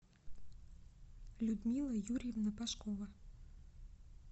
людмила юрьевна пашкова